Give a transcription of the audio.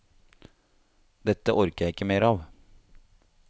Dette orker jeg ikke mer av.